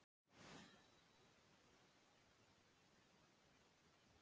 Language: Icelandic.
En fengu Íslendingar ósanngjarna meðferð því þær voru harðari af sér?